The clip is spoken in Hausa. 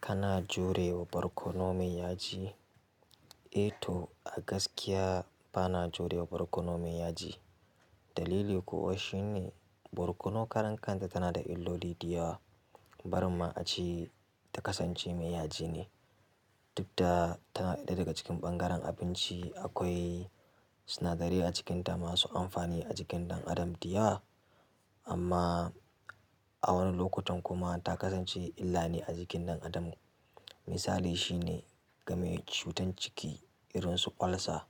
Kana jurewa barkono mai yaji? E to, gaskiya ba na jurewa barkono mai yaji. Dalili kuwa shine barkono karan kan sa tana da illoli da yawa. Barin ma ace ta kasance mai yaji ne. Duk da tana ɗaya daga cikin ɓangaren abinci da akwai sinadarai acikin ta masu amfani ajikin ɗan adam da yawa amma a wani lokutan kuma ta kasance illane a jikin ɗan adam. Misali shine game cutar ciki irin su ulcer.